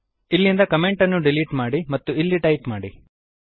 ಇಲ್ಲಿಂದ ಕಮೆಂಟ್ ಅನ್ನು ಡಿಲೀಟ್ ಮಾಡಿ ಮತ್ತು ಇಲ್ಲಿ ಟೈಪ್ ಮಾಡಿ